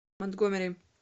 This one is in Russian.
монтгомери